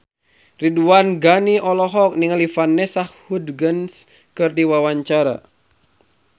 Ridwan Ghani olohok ningali Vanessa Hudgens keur diwawancara